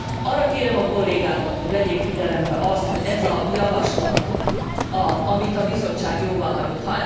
Arra kérem a kollégákat, hogy vegyék figyelembe azt, hogy ez a javaslat, amit a Bizottság jóváhagyott.